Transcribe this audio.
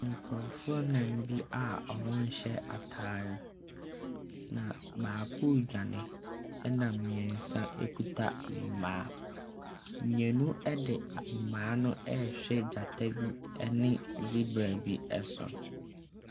Nkurofoɔ anan bi a ɔmo nhyɛ ataare a baako dwane, nna mmiɛnsa ekita mmaa. Mmienu ɛde ahoma no ɛhwɛ gyata bi ɛne sibra bi ɛso.